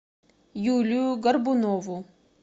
юлию горбунову